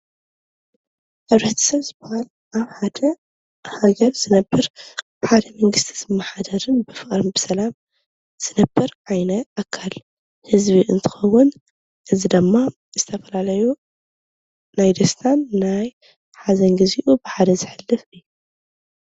ሕብረተሰብ ዝበሃል ኣብ ሓደ ሃገር ዝነብር ብሓደ መንግስቲ ዝመሓደርን ብፍቅርን ብሰላም ዝነብር ዓይነት ኣካል ህዝቢ እንትኸዉን ህዝቢ ደሞ ዝተፈለለዩ ናይ ደስታን ናይ ሓዘን ግዚኡ በሓደ ዝሕልፍ ኢዩ፡፡